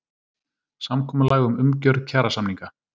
Samkomulag um umgjörð kjarasamninga